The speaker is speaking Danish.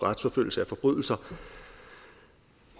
retsforfølgelse af forbrydelser